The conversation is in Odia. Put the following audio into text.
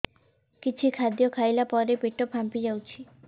କିଛି ଖାଦ୍ୟ ଖାଇଲା ପରେ ପେଟ ଫାମ୍ପି ଯାଉଛି